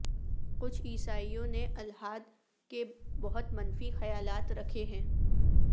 کچھ عیسائیوں نے الحاد کے بہت منفی خیالات رکھے ہیں